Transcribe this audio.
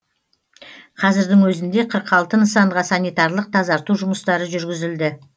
қазірдің өзінде қырық алты нысанға санитарлық тазарту жұмыстары жүргізілді